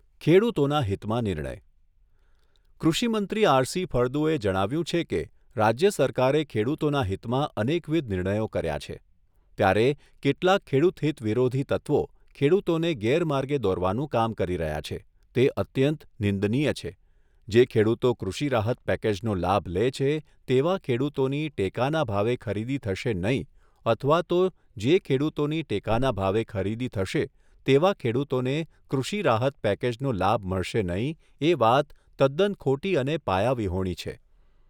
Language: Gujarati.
ખેડુતોના હિતમાં નિર્ણય કૃષિમંત્રી આરસી ફળદુએ જણાવ્યું છે કે રાજ્ય સરકારે ખેડુતોના હિતમાં અનેકવિધ નિર્ણયો કર્યાં છે. ત્યારે કેટલાક ખેડુતહિત વિરોધી તત્વો ખેડુતોને ગેરમાર્ગે દોરવાનું કામ કરી રહ્યા છે તે અત્યંત નિંદનીય છે જે ખેડુતો કૃષિ રાહત પેકજનો લાભ લે છે તેવા ખેડુતોની ટેકાના ભાવે ખરીદી થશે નહીં અથવા તો જે ખેડુતોની ટેકાના ભાવે ખરીદી થશે તેવા ખેડુતોને કૃષિ રાહત પેકેજનો લાભ મળશે નહીં એ વાત તદ્દન ખોટી અને પાયાવિહોણી છે.